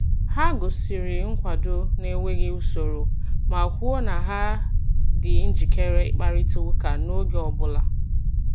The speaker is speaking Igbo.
Ha gosiri nkwado n’enweghị usoro ma kwuo na ha dị njikere ịkparịta ụka n’oge ọ bụla.